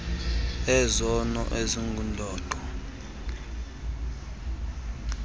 ezona mfuno zingundoqo